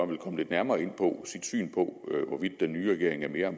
ville komme lidt nærmere ind på sit syn på hvorvidt den nye regering er mere